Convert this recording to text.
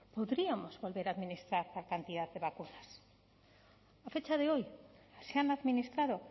podríamos poder administrar tal cantidad de vacunas a fecha de hoy se han administrado